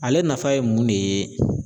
Ale nafa ye mun de ye ?